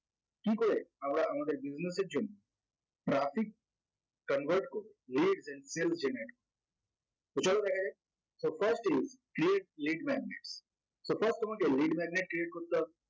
কি করে আমরা আমাদের business এর জন্য traffic convert করব less than self generate তো চলো দেখা যাক তো first এই create lead magnet তো first তোমাকে lead magnet create করতে হবে